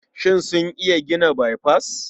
Shin sun iya gina baifas?